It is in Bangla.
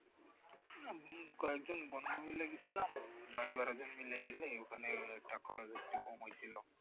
কয়েকজন বন্ধু মিলে গেছিলাম দশ বারো জন ওখানে একটা খরচটা কম হয়েছিল